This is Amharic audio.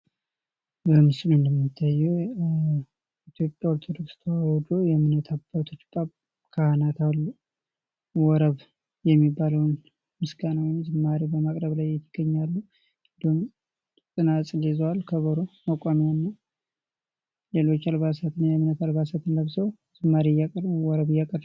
በምስሉ እንደሚታየው የኢትዮጵያ ኦርቶዶክስ ተዋሕዶ የእምነት አባቶች ካህናት አሉ። ወረብ የሚባለውን ምስጋና ወይም ዝማሬ በማቅረብ ላይ ይገኛሉ። ጸናጽል ይዘዋል ከበሮ መቋሚያ አለ። ሌሎች አልባሳትን ለብሰው ዝማሬ እያቀረቡ ወረብ እያቀረቡ